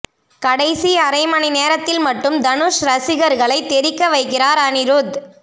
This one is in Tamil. கடைசி அரை மணி நேரத்தில் மட்டும் தனுஷ் ரசிகர்களை தெறிக்க வைக்கிறார் அனிருத்